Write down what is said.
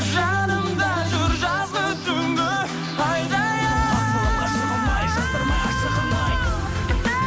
жанымда жүр жазғы түнгі айдайын